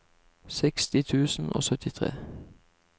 seksti tusen og syttitre